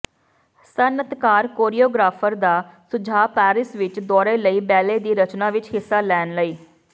ਸਨਅੱਤਕਾਰ choreographer ਦਾ ਸੁਝਾਅ Paris ਵਿੱਚ ਦੌਰੇ ਲਈ ਬੈਲੇ ਦੀ ਰਚਨਾ ਵਿਚ ਹਿੱਸਾ ਲੈਣ ਲਈ